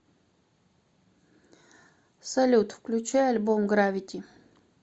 салют включи альбом гравити